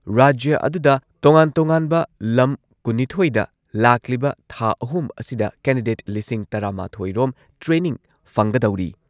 ꯔꯥꯖ꯭ꯌ ꯑꯗꯨꯗ ꯇꯣꯉꯥꯟ ꯇꯣꯉꯥꯟꯕ ꯂꯝ ꯀꯨꯟꯅꯤꯊꯣꯏꯗ ꯂꯥꯛꯂꯤꯕ ꯊꯥ ꯑꯍꯨꯝ ꯑꯁꯤꯗ ꯀꯦꯟꯗꯤꯗꯦꯠ ꯂꯤꯁꯤꯡ ꯇꯔꯥꯃꯥꯊꯣꯏ ꯔꯣꯝ ꯇ꯭ꯔꯦꯅꯤꯡ ꯐꯪꯒꯗꯧꯔꯤ ꯫